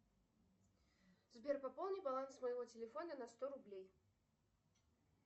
сбер пополни баланс моего телефона на сто рублей